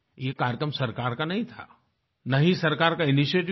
ये कार्यक्रम सरकार का नहीं था न ही सरकार का इनिशिएटिव था